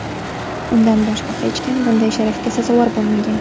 Undan boshqa hech kim bunday sharafga sazovor bo‘lmagan.